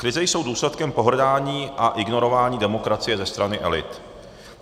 Krize jsou důsledkem pohrdání a ignorování demokracie ze strany elit.